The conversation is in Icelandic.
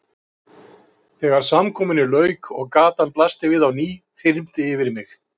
Þegar samkomunni lauk og gatan blasti við á ný þyrmdi yfir mig.